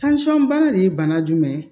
bana de ye bana jumɛn ye